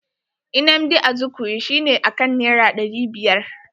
Nnamdi Azikwe shi ne akan naira ɗari biyar.